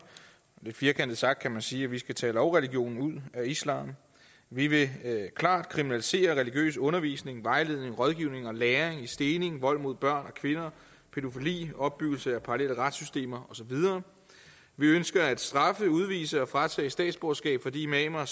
lidt firkantet sagt kan man sige at vi skal tage lovreligionen ud af islam vi vil klart kriminalisere religiøs undervisning vejledning rådgivning og læring i stening vold mod børn og kvinder pædofili opbyggelse af parallelle retssystemer og så videre vi ønsker at straffe udvise og fratage statsborgerskab for de imamer